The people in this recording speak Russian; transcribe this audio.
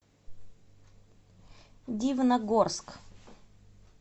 дивногорск